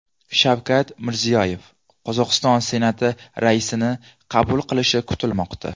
Shavkat Mirziyoyev Qozog‘iston Senati raisini qabul qilishi kutilmoqda.